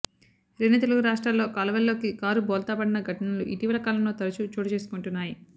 రెండు తెలుగు రాష్ట్రాల్లో కాలువల్లోకి కారు బోల్తా పడిన ఘటనలు ఇటీవల కాలంలో తరచూ చోటు చేసుకొంటున్నాయి